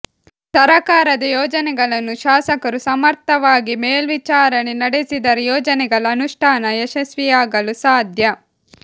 ಸರಕಾರದ ಯೋಜನೆಗಳನ್ನು ಶಾಸಕರು ಸಮರ್ಥವಾಗಿ ಮೇಲ್ವಿಚಾರಣೆ ನಡೆಸಿದರೆ ಯೋಜನೆಗಳ ಅನುಷ್ಠಾನ ಯಶಸ್ವಿಯಾಗಲು ಸಾಧ್ಯ